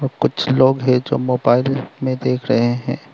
कुछ लोग है जो मोबाइल में देख रहे हैं।